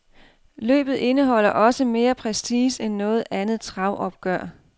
Løbet indeholder også mere prestige end noget andet travopgør.